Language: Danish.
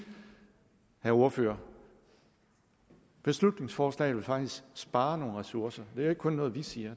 vil ordføreren at beslutningsforslaget faktisk spare nogle ressourcer det er ikke kun noget vi siger